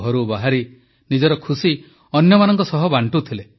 ଘରୁ ବାହାରି ନିଜର ଖୁସି ଅନ୍ୟମାନଙ୍କ ସହ ବାଣ୍ଟୁଥିଲେ